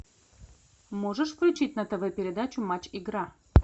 можешь включить на тв передачу матч игра